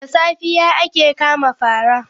Da safiya ake kama paraa.